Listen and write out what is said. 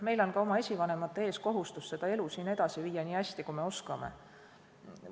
Meil on ka oma esivanemate ees kohustus seda elu siin edasi viia nii hästi, kui me oskame.